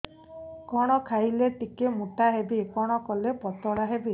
କଣ ଖାଇଲେ ଟିକେ ମୁଟା ହେବି କଣ କଲେ ପତଳା ହେବି